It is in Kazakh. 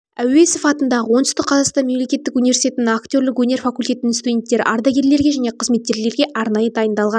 әуезов атындағы оңтүстік қазақстан мемлекеттік университетінің актерлік өнер факультетінің студенттері ардагерлерге және қызметкерлерге арнайы дайындалған